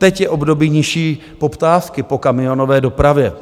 Teď je období nižší poptávky po kamionové dopravě.